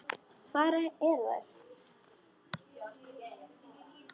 Hvar eru þær?